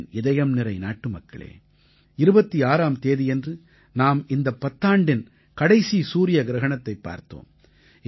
என் இதயம்நிறை நாட்டுமக்களே 26ஆம் தேதியன்று நாம் இந்தப் பத்தாண்டின் கடைசி சூரிய கிரஹணத்தைப் பார்த்தோம்